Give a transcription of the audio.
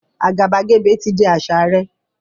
Àgàbàgebè ti di àṣà rẹ̀